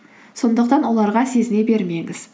сондықтан оларға сезіне бермеңіз